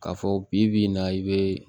K'a fɔ bi bi in na i be